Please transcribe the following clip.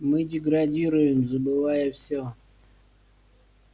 мы деградируем забывая всё